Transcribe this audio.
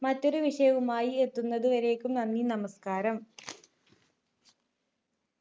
മറ്റൊരു വിഷയവുമായി എത്തുന്നത് വരേക്കും നന്ദി നമസ്‌കാരം